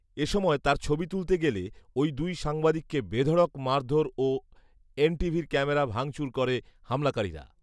এসময় তার ছবি তুলতে গেলে ওই দুই সাংবাদিককে বেধঢ়ক মারধর ও এনটিভির ক্যামেরা ভাঙচুর করে হামলাকারীরা